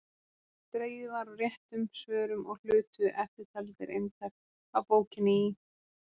Dregið var úr réttum svörum og hlutu eftirtaldir eintak af bókinni í